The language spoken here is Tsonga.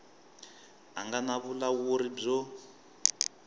a nga na vulawuri byo